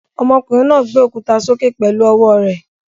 Ọmọkùnrin náà gbé òkúta sókè pẹ̀lú ọwọ́ rẹ̀.